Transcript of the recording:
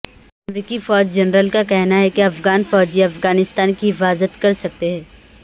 امریکی فوج جنرل کا کہنا ہے کہ افغان فوجی افغانستان کی حفاظت کر سکتے ہیں